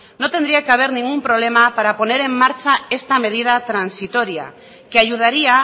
no tendría que haber ningún problema para poner en marcha esta medida transitoria que ayudaría